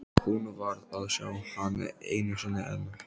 Hún varð að sjá hann einu sinni enn.